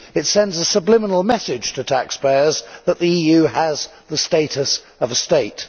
It sends a subliminal message to taxpayers that the EU has the status of a state.